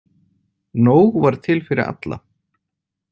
Nóg var til fyrir alla.